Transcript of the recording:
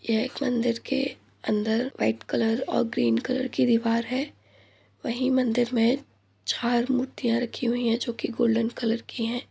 यह एक मन्दिर के अन्दर व्हाइट कलर और ग्रीन कलर की दीवार है वही मन्दिर में चार मूर्तियां रखी हुई हैं जो की गोल्डन कलर की हैं |